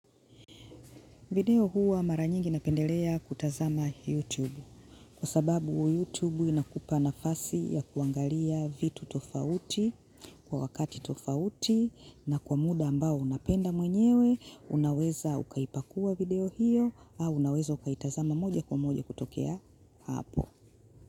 Video huwa mara nyingi napendelea kutazama YouTube kwa sababu YouTube inakupa nafasi ya kuangalia vitu tofauti kwa wakati tofauti na kwa muda ambao unapenda mwenyewe unaweza ukaipakua video hiyo au unaweza ukaitazama moja kwa moja kutokea hapo.